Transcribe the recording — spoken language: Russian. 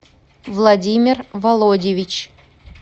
владимир володьевич